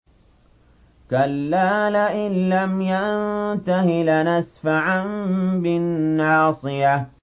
كَلَّا لَئِن لَّمْ يَنتَهِ لَنَسْفَعًا بِالنَّاصِيَةِ